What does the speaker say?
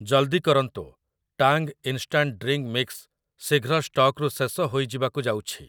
ଜଲ୍‌ଦି କରନ୍ତୁ, Tang instant drink mix ଶୀଘ୍ର ଷ୍ଟକ୍‌ରୁ ଶେଷ ହୋଇଯିବାକୁ ଯାଉଛି ।